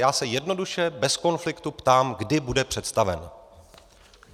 Já se jednoduše, bez konfliktu ptám, kdy bude představen.